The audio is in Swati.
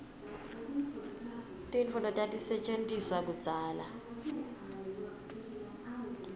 tintfo letatisetjentiswa kudzala